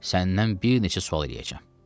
Səndən bir neçə sual eləyəcəm.